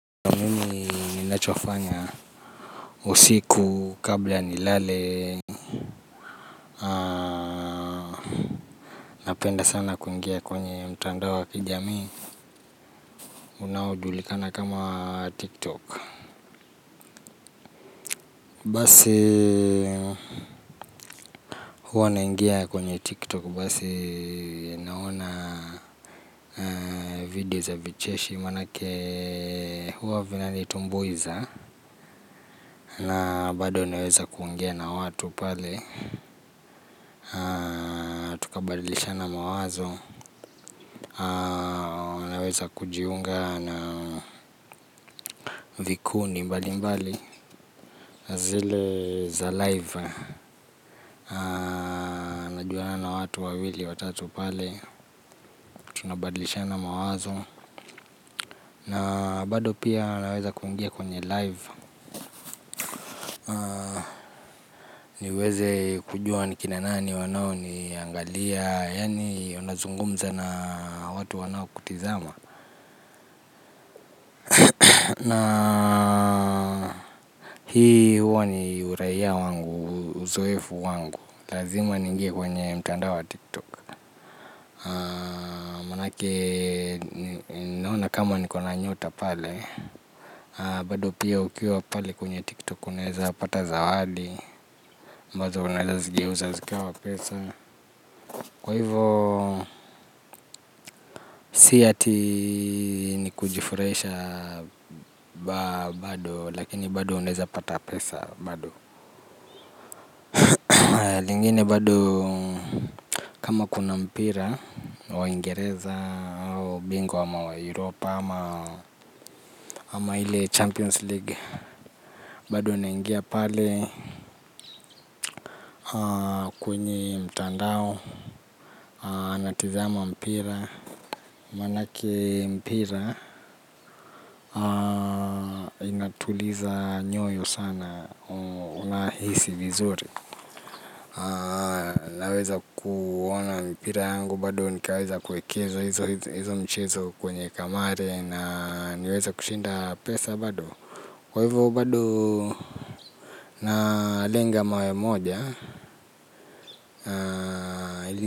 Mimi ninachofanya usiku kabla nilale. Napenda sana kuingia kwenye mtandao wa kijamii. Unaojulikana kama wa tiktok. Basi huwa naingia kwenye tiktok. Basi naona video za vicheshi. Maanake huwa vinanitumbuiza. Na bado naweza kuingia na watu pale. Kubadilishana mawazo. Naweza kujiunga na vikundi mbali mbali. Na zile za live. Najuana na watu wawili, watatu pale. Unabadlishana mawazo. Na bado pia naweza kuingia kwenye live. Niweze kujua ni kina nani wanao niangalia. Yani unazungumza na watu wanao kutizama. Na hii huwa ni uraia wangu, uzoefu wangu. Lazima niingie kwenye mtandao wa tiktok. Maanake ninaona kama niko na nyota pale. Bado pia ukiwa pale kwenye tiktok unaeza pata zawadi ambazo unaeza zigeuza zikawa pesa. Kwa hivo si ati ni kujifurahisha bado lakini bado unaeza pata pesa bado. Lingine bado kama kuna mpira waingereza hao bingwa wa mayuropa ama ama ile champions league bado naingia pale kwenye mtandao na tizama mpira. Maanake mpira inatuliza nyoyo sana una hisi vizuri. Naweza kuona mpira yangu bado nikaweza kuekeza hizo mchezo kwenye kamare na niweza kushinda pesa bado. Kwa hivyo bado na lenga mawe moja na ili.